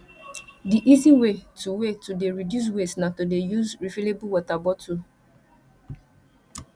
di easy way to way to dey reduce waste na to dey use refillable water bottle